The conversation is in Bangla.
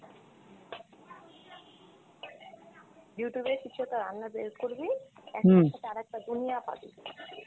Youtube এ কিছু একটা রান্নার বের করবি, একটার সাথে আরেকটার দুনিয়া পাবি।